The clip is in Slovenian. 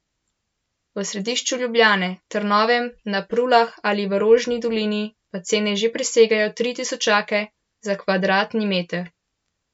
V središču Ljubljane, Trnovem, na Prulah ali v Rožni dolini pa cene že presegajo tri tisočake za kvadratni meter.